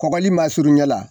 Kɔgɔli masurunya la